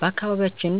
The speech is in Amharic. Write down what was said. በአካባቢያችን